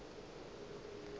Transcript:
na le maatla a go